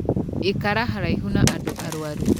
Ikara haraihu na andũ arwaru.